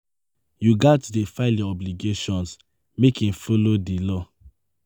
Yu gats dey file yur obligations mek im follow di law.